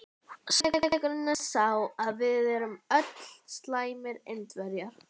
Sannleikurinn er sá að við erum öll slæmir Indverjar.